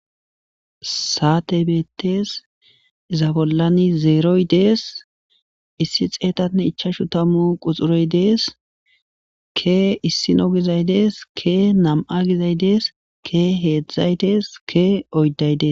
Sate beettes,iza bollani zeroyi dees.issi xeetane ichashu tamu quxure dees.ke issinoyo dees,kenam'ayi dees,keheedhdhu dees,keoyidayi dees